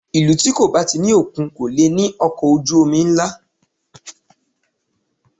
Ìlú tí kò bá ti ní òkun kò lè ní ọkọ̀ ojú omi ńlá